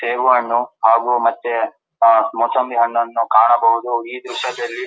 ಸೇಬು ಹಣ್ಣು ಹಾಗು ಮತ್ತೆ ಮುಸುಂಬಿ ಹಣ್ಣನ್ನು ಕಾಣಬಹುದು ಈ ದ್ರಶ್ಯದಲ್ಲಿ --